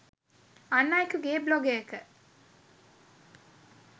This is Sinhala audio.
අන් අයෙකුගේ බ්ලොගයක